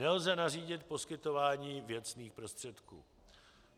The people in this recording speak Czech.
Nelze nařídit poskytování věcných prostředků.